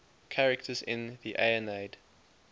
characters in the aeneid